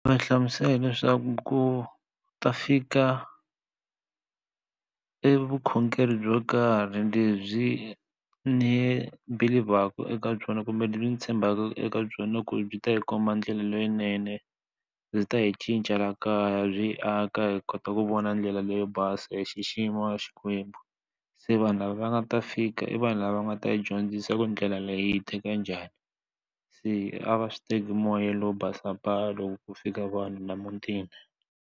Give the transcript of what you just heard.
Va hlamusela leswaku ku ta fika e vukhongeri byo karhi lebyi ni believer-ku eka byona kumbe leswi mi tshembaka eka byona ku byi ta yi komba ndlela leyinene byi ta hi cinca la kaya byi aka hi kota ku vona ndlela leyo basa hi xixima xikwembu se vanhu lava va nga ta fika i vanhu lava nga ta yi dyondzisa ku ndlela leyi hi teka njhani se a va swi teki moya lowo basa pa loko ko fika vanhu na emutini.